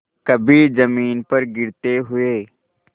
कभी जमीन पर गिरते हुए